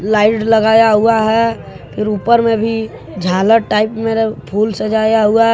Light लगाया हुआ है फिर ऊपर में भी झालर टाइप मे फुल सजाया हुआ है।